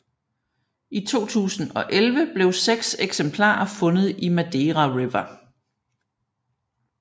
I 2011 blev seks eksemplarer fundet i Madeira River